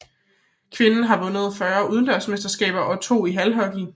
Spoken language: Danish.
Kvinderne har vundet 40 udendørsmesterskaber og 2 i halhockey